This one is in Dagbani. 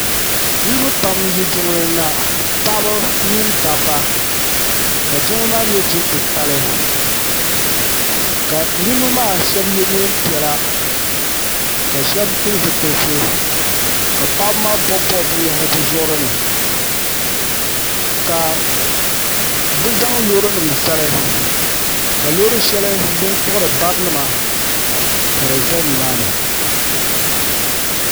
Niriba pam n yi jiŋli ni na paɣaba mini dabba ka jiŋli maa nyɛ jiŋ'titali ka niriba maa sheba ye niɛn'piɛla ka sheba pili zipilisi ka paɣaba maa bob'bobi binyahiri bɛ zuɣuri ni ka bɛ zaŋ loori nima zali ka loori sheli din kpiɣiri barinima ka di za nimaani.